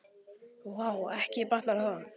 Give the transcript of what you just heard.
Vá, ekki batnar það!